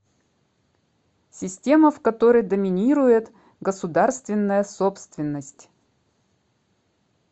система в которой доминирует государственная собственность